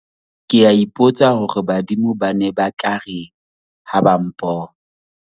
ke a ipotsa hore badimo ba ne ba tla reng ha ba mpona